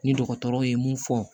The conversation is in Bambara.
Ni dɔgɔtɔrɔ ye mun fɔ